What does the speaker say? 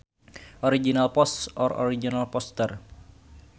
Original Post or Original Poster